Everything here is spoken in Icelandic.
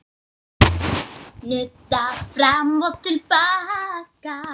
Nudda fram og til baka.